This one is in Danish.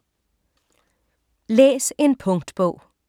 Læs en punktbog